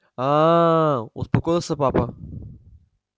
а-а-а-а-а успокоился папа